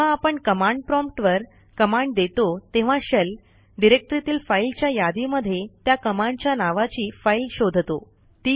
जेव्हा आपण command prompt वर कमांड देतो तेव्हा शेल डिरेक्टरीतील फाईलच्या यादीमध्ये त्या कमांडच्या नावाची फाईल शोधतो